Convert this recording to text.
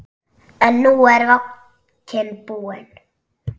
En nú er vodkinn búinn.